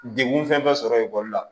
Degun fɛn bɛ sɔrɔ ekɔli la